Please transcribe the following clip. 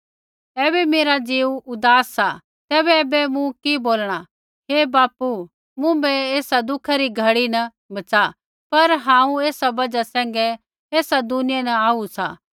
ऐबै मेरा ज़ीऊ उदास सा तैबै ऐबै मूँ कि बोलणा हे बापू मुँभै एस दुखै री घड़ी न बच़ा पर हांऊँ एसा बजहा सैंघै ऐसा दुनिया न आऊ सा